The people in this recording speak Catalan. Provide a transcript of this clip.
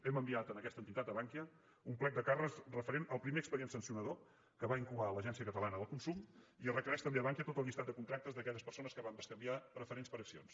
hem enviat a aquesta entitat a bankia un plec de càrrecs referent al primer expedient sancionador que va incoar l’agència catalana del consum i es requereix també a bankia tot el llistat de contractes d’aquelles persones que van bescanviar preferents per accions